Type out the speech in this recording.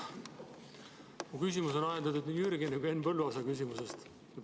Mu küsimus on ajendatud nii Jürgeni kui ka Henn Põlluaasa küsimusest.